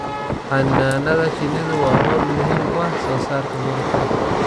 Xannaanada shinnidu waa hawl muhiim u ah soosaarka malabka.